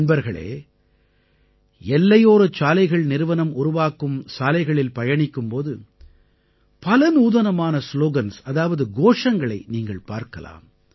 நண்பர்களே எல்லையோர சாலைகள் நிறுவனம் உருவாக்கும் சாலைகளில் பயணிக்கும் போது பல நூதனமான ஸ்லோகன்ஸ் அதாவது கோஷங்களை நீங்கள் பார்க்கலாம்